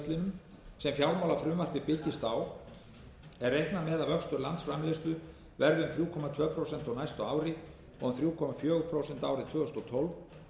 fjárlagafrumvarpið byggist á er reiknað með að vöxtur landsframleiðslu verði um þrjú komma tvö prósent á næsta ári og um þrjú komma fjögur prósent árið tvö þúsund og tólf